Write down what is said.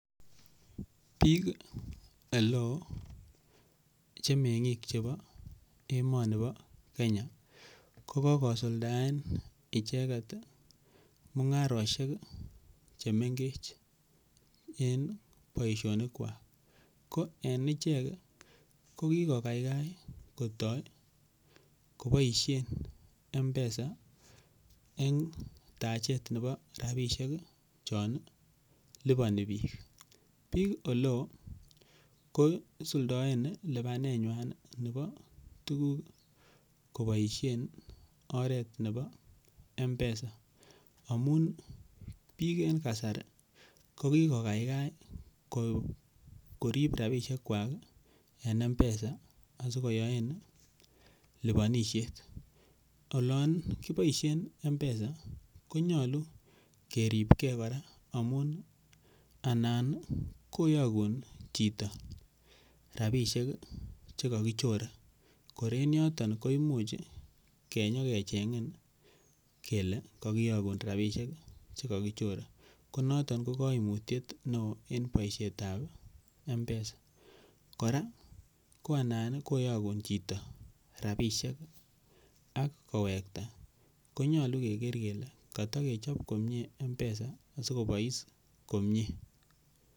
Biik ele oo che meng'ik chebo emoni bo Kenya ko kogosuldaen icheget mung'arosiek che mengech en boisionik kwak. Ko en ichek ko kigokaikai kotoiy koboisien M-Pesa en tachet nebo rabisiek chon liponi biik. Biik ele oo ko isuldaen lipanenywan nebo tuguk koboisien oret nebo M-Pesa amun biik en kasari kokigokaikai korip rabishek kwak en M-Pesa asikoyoen liponisiet. Olon kiboisien M-Pesa konyolu keripge kora amun anan koyokun chito rabisiek che kokichore kor en yoton koimuch kenyokeching'in kele kogiyokun rabisiek che kogichore. Ko noton ko kaimutiet neo en boisietab M-Pesa. Kora ko anan koyokun chito rabisiek ak kowekta konyolu keger kele kotokechop komie M-Pesa asikobois komie.